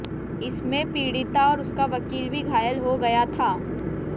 इसमें पीड़िता और उसका वकील भी घायल हो गया था